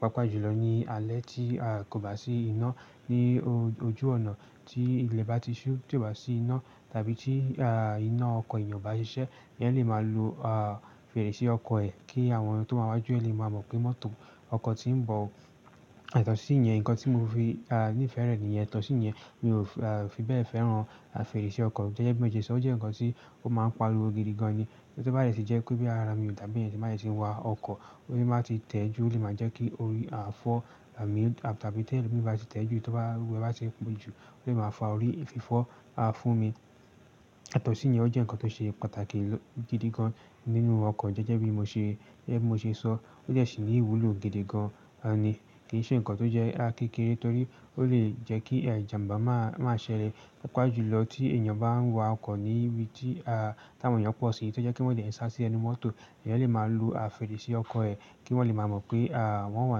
Pápá jùlọ ní alẹ́ tí a kò bá sí iná, ní ojú ònà tí ilẹ̀ bá ti ṣú tì o bá sí iná tàbí tí, a, iná ọkọ̀ èèyàn bá ṣiṣẹ́, èèyàn lè máa lo, a, fèrèsé ọkọ̀ ẹ kí àwọn tó bá wà wájú ẹ lè máa mọ̀ pé mọ́tò ọkọ̀ tí ń bọ̀. Yato sí íyẹn, ǹkan tí mo fi, a, ní ìfẹ́ rẹ̀ ní ìyẹn. Yato sí íyẹn mi ò fi bẹ́ẹ̀ fẹ́ràn fèrèsé ọkọ̀. Gẹ́gẹ́ bí mo ṣe sọ, ó jẹ́ ǹkan tí ó máa ń pariwo gidigan ni. Ṣé bá lè ṣe jẹ́ pé bí ara mi ò dá bí èèyàn bá ṣe ń wa ọkọ̀, ó sì bá ti tẹ́ jù, ó lè máa jẹ́ kí orí a fọ́ àmín tàbí tẹ́ ẹlòmíràn bá ti tẹ́ jù tóbá, wẹ́ bá ṣe pọ̀jù, ó lè máa fa orí fífọ́, a, fún mi. Yato sí íyẹn ó jẹ́ ǹkan tó ṣe pàtàkì gidigan nínú ọkọ̀. Gẹ́gẹ́ bí mo ṣe, bí mo ṣe sọ ó jẹ̀ sí ní ìwúlò gidigan, a, ni. Kì í ṣe ǹkan tó jẹ́ kékeré torí ó lè jẹ́ kí ìjàmbá máa, máa ṣẹlẹ̀. Pápá jùlọ tí èèyàn bá ń wa ọkọ̀ ní ibi tí, a, táwọn èèyàn pọ̀ sí, tó jẹ́ kí wọ́n dè sá sí ẹnu mọ́tò, èèyàn lè máa lo, a, fèrèsé ọkọ̀ ẹ kí wọ́n lè máa mọ̀ pé, a, wọ́n wà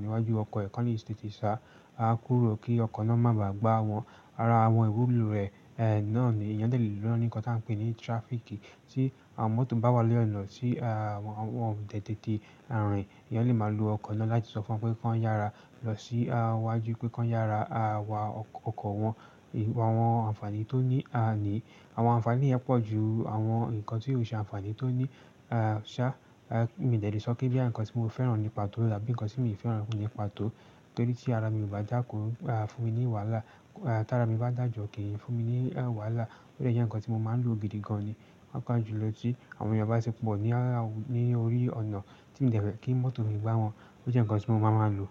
níwájú ọkọ̀ ẹ, kó ni èsì ti sá, a, kúrò kí ọkọ̀ náà má bà gbá wọn. Rárá, àwọn ìwúlò rẹ̀, náà ni èèyàn dè lò lọ́nìí ǹkan tí a ń pè ní traffic tí àwọn mọ́tò bá wà lẹ́ẹ̀ ọ̀nà tí, a, wọn ò tètè rìn, èèyàn lè máa lo ọkọ̀ náà láti sọ fún wọn pé kí wọ́n yára lọ sí wájú pé kí wọ́n yára, a, wa ọkọ̀ wọn. Àwọn ànfàní tó ní, a, ni àwọn ànfàní yẹn pọ̀ ju àwọn ǹkan tí yóò ṣe ànfàní tó ní, a, ṣá. Mi de le sọ pé bí àwọn ǹkan tí mo fẹ́ràn nípa tó tàbí ǹkan tí mi ò fẹ́ràn nípa tó torí tí ara mi ò bá dàkọ, a, fún mi ní wàhálà. Tí ara mi bá dàjọ́ kì í fún mi ní, ẹ, wàhálà. Ó jẹ́ ǹkan tí mo máa ń lò gidigan ni. Pápá jùlọ tí àwọn èèyàn bá ṣe pọ̀ ní, ní orí ọ̀nà tí mo dẹ̀ tí kí mọ́tò mi gbá wọn. Ó jẹ́ ǹkan tí mo máa máa lò.